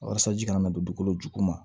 Walasa ji kana don dugukolo juguman